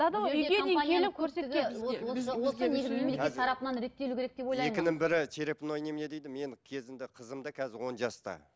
мемлекет тарапынан реттелу керек деп ойлаймын екінің бірі черепной немене дейді мен кезінде қызым да қазір он жаста